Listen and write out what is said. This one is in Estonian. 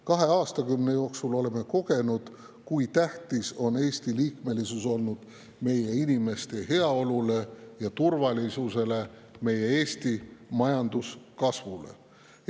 Kahe aastakümne jooksul oleme kogenud, kui tähtis on Eesti liikmesus olnud meie inimeste heaolule ja turvalisusele, Eesti majanduse kasvule.